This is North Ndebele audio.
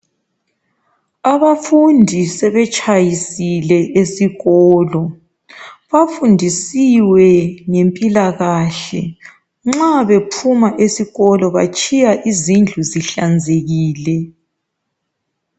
abafundi sebetshayisile esikolo bafundisiwe ngempilakahle nxa bephuma esikolo batshiya izindlu zihlanzekile